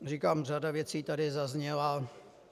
Říkám, řada věcí tady zazněla.